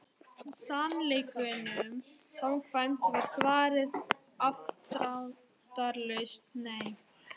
Sannleikanum samkvæmt var svarið afdráttarlaust nei.